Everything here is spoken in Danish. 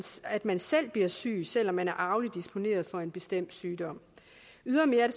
at man selv bliver syg selv om man er arveligt disponeret for en bestemt sygdom ydermere